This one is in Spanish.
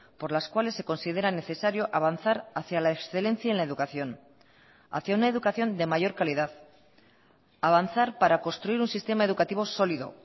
por las cuales se considera necesario avanzar hacia la excelencia en la educación hacia una educación de mayor calidad avanzar para construir un sistema educativo sólido